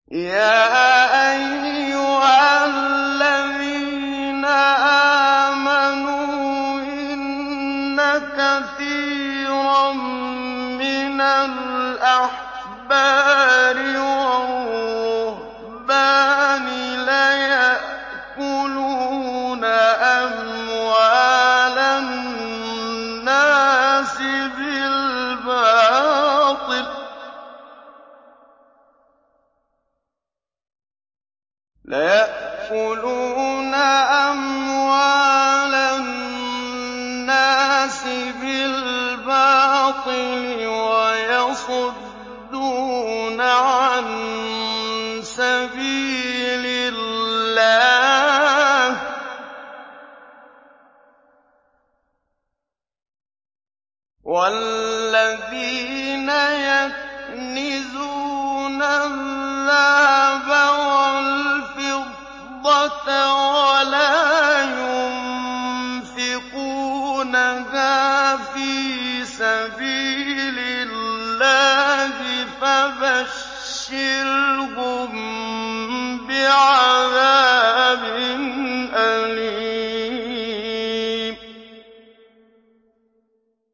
۞ يَا أَيُّهَا الَّذِينَ آمَنُوا إِنَّ كَثِيرًا مِّنَ الْأَحْبَارِ وَالرُّهْبَانِ لَيَأْكُلُونَ أَمْوَالَ النَّاسِ بِالْبَاطِلِ وَيَصُدُّونَ عَن سَبِيلِ اللَّهِ ۗ وَالَّذِينَ يَكْنِزُونَ الذَّهَبَ وَالْفِضَّةَ وَلَا يُنفِقُونَهَا فِي سَبِيلِ اللَّهِ فَبَشِّرْهُم بِعَذَابٍ أَلِيمٍ